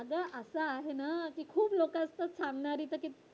अग असं आहे ना खूप लोक असतात सांगणारी तर ते